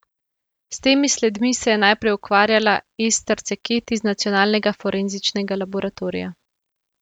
S temi sledmi se je najprej ukvarjala Ester Ceket iz Nacionalnega forenzičnega laboratorija.